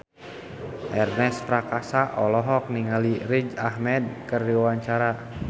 Ernest Prakasa olohok ningali Riz Ahmed keur diwawancara